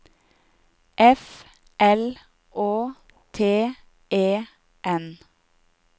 F L Å T E N